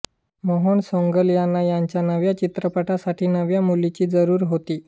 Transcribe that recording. मोहन सैगल यांना त्यांच्या नव्या चित्रपटासाठी नव्या मुलीची जरूर होती